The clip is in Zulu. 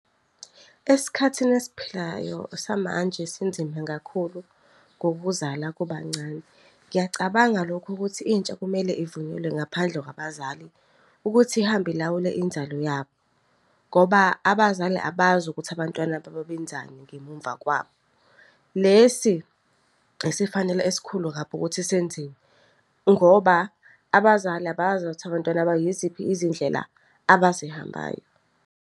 Esikhathini esiphilayo samanje sinzima kakhulu ngokuzala kubancane. Ngiyacabanga lokho ukuthi intsha kumele ivunyelwe ngaphandle kwabazali ukuthi ihambe ilawule inzalo yabo ngoba abazali abazi ukuthi abantwana babo benzani ngemumva kwabo. Lesi esifanele esikhulu kabi ukuthi senziwe, ngoba abazali abazi ukuthi abantwana babo yiziphi izindlela abazihambayo.